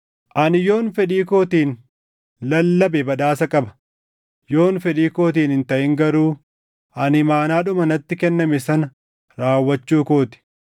Ani yoon fedhii kootiin lallabe badhaasa qaba; yoon fedhii kootiin hin taʼin garuu ani imaanaadhuma natti kenname sana raawwachuu koo ti.